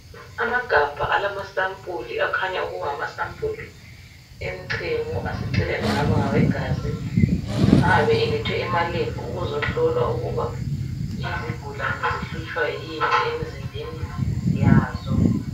Amagabha alemasampuli. Akhanya ukuba ngamasampuli, emchemo. Aseceleni angaba ngawegazi. Ayabe elethwe emaLab, ukuzohlola ukuba izigulane zihlutshwa yini emzimbeni yazo.